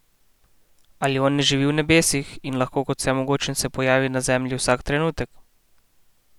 Ali on ne živi v nebesih in lahko kot vsemogočen se pojavi na zemlji vsak trenutek?